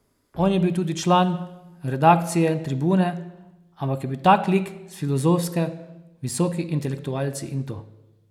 On je bil tudi član redakcije Tribune, ampak je bil tak lik s Filozofske, visoki intelektualci in to.